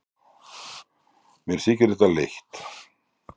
Mér þykir þetta leitt.